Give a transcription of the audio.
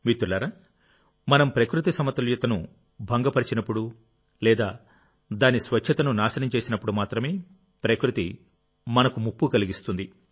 మిత్రులారామనం ప్రకృతి సమతుల్యతను భంగపరిచినప్పుడు లేదా దాని స్వచ్ఛతను నాశనం చేసినప్పుడు మాత్రమే ప్రకృతి మనకు ముప్పు కలిగిస్తుంది